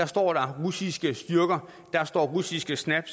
står der russiske styrker der står russiske snap